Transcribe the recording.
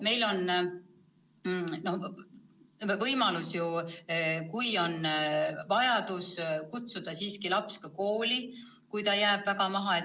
Meil on võimalik vajaduse korral kutsuda laps siiski kooli, kui ta jääb väga maha.